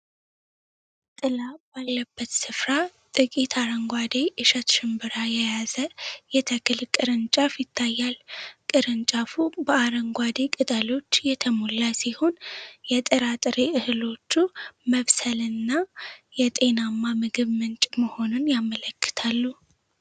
ጥላ ባለበት ስፍራ ጥቂት አረንጓዴ ኢሸት ሽምብራ የያዘ የተክል ቅርንጫፍ ይታያል። ቅርንጫፉ በአረንጓዴ ቅጠሎች የተሞላ ሲሆን፣ የጥራጥሬ እህሎቹ መብሰልንና የጤናማ ምግብ ምንጭ መሆንን ያመለክታሉ።